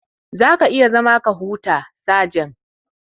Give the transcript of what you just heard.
Za ka iya zama ka huta, sajan.